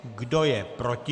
Kdo je proti?